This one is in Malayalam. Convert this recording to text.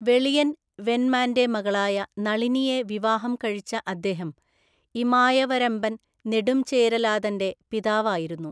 വെളിയൻ വെൻമാന്റെ മകളായ നളിനിയെ വിവാഹം കഴിച്ച അദ്ദേഹം ഇമായവരംബൻ നെടുംചേരലാതന്‍റെ പിതാവായിരുന്നു.